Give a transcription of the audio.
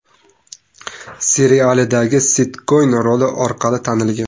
serialidagi Set Koen roli orqali tanilgan.